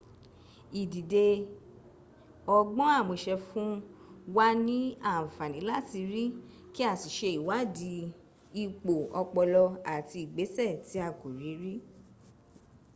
ìdide ọgbọ́n àmúṣe fún wa ni àǹfààní láti rí kí a sì ṣe ìwádìí ipo ọpọlọ àti ìgbéṣẹ̀ tí a kò rí rí